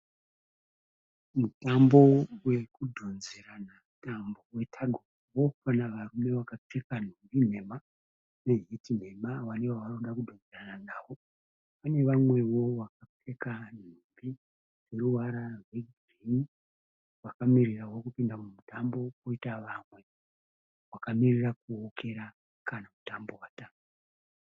Mutambo we kudhonzerana tambo we tug of war . Panavarume vakapfeka nhumbi nhema ne bhutsu nhema, vane vavari kuda kudhonzerana nawo. Pane vamwewo vakapfeka nhumbi dzineruvara rwe bhuruu vakamirirawo kupinda mumutambo . Koita vamwe vakamirira kuukira kana mutambo watanga.